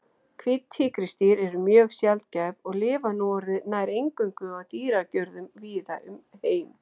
Hvít tígrisdýr eru mjög sjaldgæf og lifa núorðið nær eingöngu í dýragörðum víða um heim.